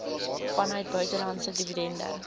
vanuit buitelandse dividende